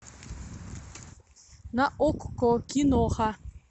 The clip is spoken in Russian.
на окко киноха